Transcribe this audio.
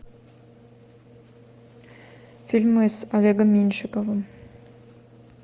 фильмы с олегом меньшиковым